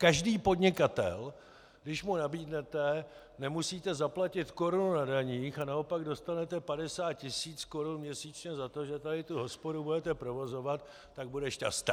Každý podnikatel, když mu nabídnete: nemusíte zaplatit korunu na daních, a naopak dostanete 50 tisíc korun měsíčně za to, že tady tu hospodu budete provozovat, tak bude šťasten.